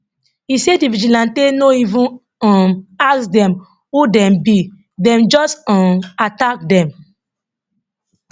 e say di vigilante no even um ask dem who dem be dem just um attack dem